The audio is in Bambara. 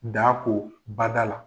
Daa ko bada la.